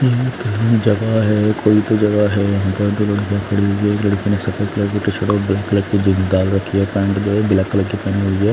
जगह है कोई तो जगह है इधर दो लड़किया खड़ी हुई है एक लड़कियों ने सफेद कलर की शर्ट और ब्लैक कलर की जींस डाल रखी है पेंट जो है ब्लैक कलर की पहनी हुई है।